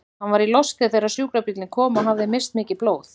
Hann var í losti þegar sjúkrabíllinn kom og hafði misst mikið blóð.